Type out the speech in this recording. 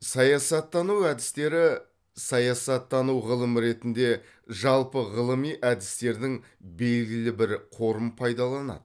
саясаттану әдістері саясаттану ғылым ретінде жалпы ғылыми әдістердің белгілі бір қорын пайдаланады